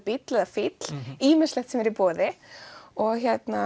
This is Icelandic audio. bíll eða fíll ýmislegt sem er í boði og